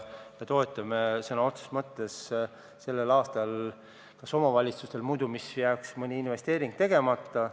Me toetame omavalitsusi sellepärast, et muidu jääks neil sellel aastal mõni investeering tegemata.